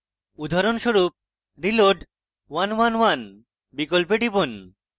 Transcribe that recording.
উদাহরণস্বরূপ reload {1 1 1} বিকল্পে টিপুন